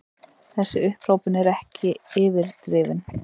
Þessi upphrópun er ekki yfirdrifin.